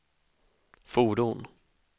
fordon